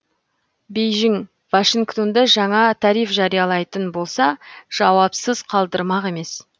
бейжің вашингтонды жаңа тариф жариялайтын болса жауапсыз қалдырмақ емес